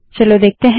चलो देखते हैं